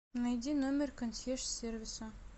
найди номер консьерж сервиса